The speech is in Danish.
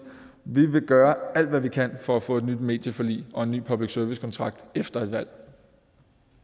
vi vil gøre alt hvad vi kan for at få et nyt medieforlig og en ny public service kontrakt efter et valg